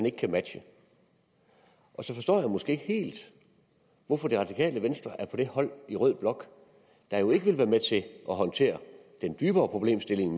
ikke kan matche så forstår jeg måske ikke helt hvorfor det radikale venstre er på det hold i rød blok der ikke vil være med til at håndtere den dybere problemstilling